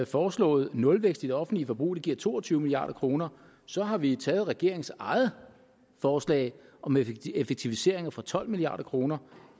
foreslået nulvækst i det offentlige forbrug det giver to og tyve milliard kroner så har vi eksempelvis taget regeringens eget forslag om effektiviseringer for tolv milliard kroner